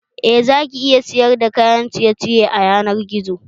Eh, zaki iya sayar da kayan ciye ciye a yanar gizo